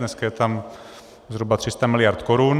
Dneska je tam zhruba 300 mld. korun.